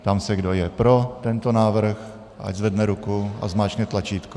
Ptám se, kdo je pro tento návrh, ať zvedne ruku a zmáčkne tlačítko.